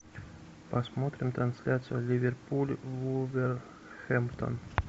посмотрим трансляцию ливерпуль вулверхэмптон